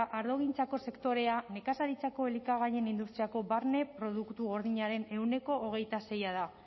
ardogintzako sektorea nekazaritzako elikagaien industriako barne produktu gordinaren ehuneko hogeita sei da